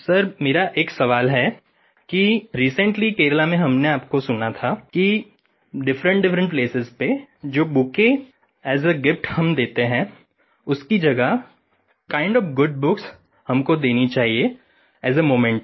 sir मेरा एक सवाल है कि रिसेंटली केरल में हमने आपको सुना था कि डिफरेंटडिफरेंट प्लेसेस पे जो बुकेट एएस आ गिफ्ट हम देते हैं उसकी जगह किंड ओएफ गुड बुक्स हमको देनी चाहिए एएस आ memento